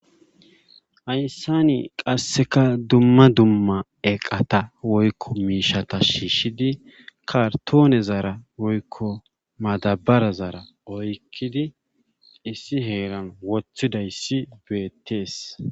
Hayssan qasseka dumma eqqata woykko miishata shiishidi kartonezara woykko madabarazara oykkidi issi heeran wotidayssi beetees.